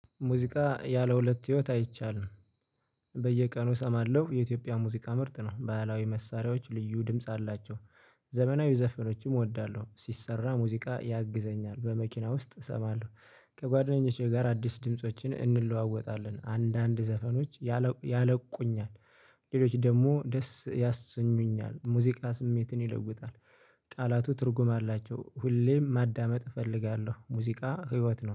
ሙዚቃ ያለ ሁለት ህይወት አይቻልም። በየቀኑ እሰማለሁ የኢትዮጵያ ሙዚቃ ምርጥ ነው ባህላዊ መሳሪያዎች ልዩ ድምጽ አላቸው። ዘመናዊ ዘፈኖችም እወዳለሁ ሲሰራ ሙዚቃ ያግዘኛል በመኪና ውስጥ እሰማለሁ። ከጓደኞቼ ጋር አዲስ ድምፆችን እንለዋወጣለን አንዳንድ ዘፈኖች ያነቁኛል። ሌሎች ደግሞ ደስ ያሰኙኛል ሙዚቃ ስሜትን ይለውጣል። ቃላቱ ትርጉም አላቸው ሁሌም ማዳመጥ እፈልጋለሁ ሙዚቃ ህይወት ነው